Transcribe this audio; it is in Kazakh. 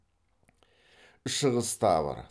шығыс тавр